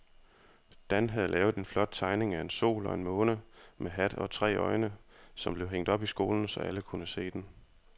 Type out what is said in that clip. Dan havde lavet en flot tegning af en sol og en måne med hat og tre øjne, som blev hængt op i skolen, så alle kunne se den.